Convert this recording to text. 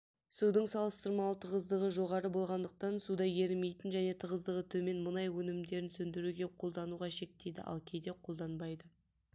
судың салыстырмалы тығыздығы жоғары болғандықтан суда ерімейтін және тығыздығы төмен мұнай өнімдерін сөндіруге қолдануда шектейді ал кейде қолданбайды